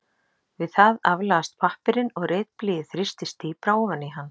Við það aflagast pappírinn og ritblýið þrýstist dýpra ofan í hann.